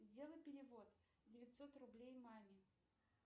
сделай перевод девятьсот рублей маме